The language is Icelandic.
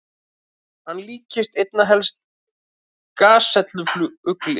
Hann líktist einna helst gasellu-fugli.